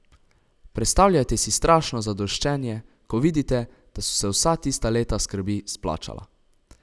Predstavljajte si strašno zadoščenje, ko vidite, da so se vsa tista leta skrbi splačala.